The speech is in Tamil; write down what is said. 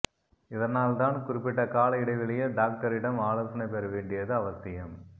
இதனால்தான் குறிப்பிட்ட கால இடைவெளியில் டாக்டரிடம் ஆலோசனை பெற வேண்டியது அவசியம்